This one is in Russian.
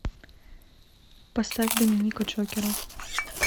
поставь доминика джокера